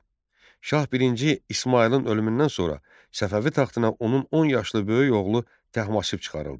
Şah I İsmayılın ölümündən sonra Səfəvi taxtına onun 10 yaşlı böyük oğlu Təhmasib çıxarıldı.